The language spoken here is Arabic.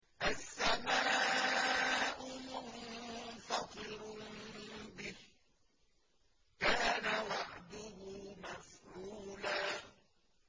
السَّمَاءُ مُنفَطِرٌ بِهِ ۚ كَانَ وَعْدُهُ مَفْعُولًا